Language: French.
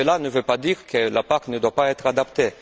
Cela ne veut pas dire que la PAC ne doive pas être adaptée.